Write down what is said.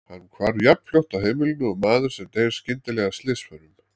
Hann hvarf jafnfljótt af heimilinu og maður sem deyr skyndilega af slysförum.